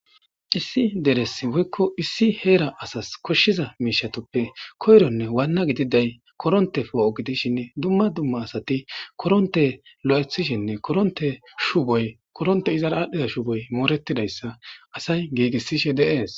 Issi deres woykko issi heera asas koshshiza miishshatuppe koyronne waanna gididay koronte poo'o gidishin dumma dumma asati koronte lo'aththishenne korontey izara aadhdhiza shuboy moorettidayssa asay giigisishe de'es